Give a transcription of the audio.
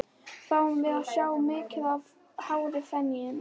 Fáum við að sjá mikið af hári í Feneyjum?